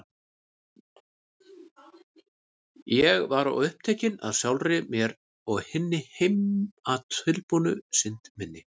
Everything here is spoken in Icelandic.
Ég var of upptekin af sjálfri mér og hinni heimatilbúnu synd minni.